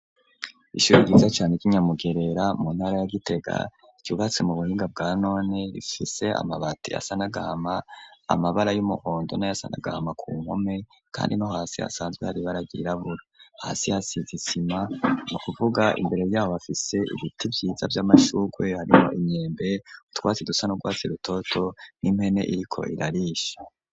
Ishuri ryiza cane ryi Nyamugerera mu ntara ya Gitega ryubatse mu buhinga bwa none rifise amabati asa n'agahama amabara y'umuhondo na yasa n'agahama ku mpome kandi no hasi hasanzwe hari ibara ryirabura hasi hasize isima nukuvuga imbere yaho bafise ibiti vyiza vy'amashurwe harimwo imyembe utwatsi dusa n'urwatsi rutoto n'impene iriko irarisha.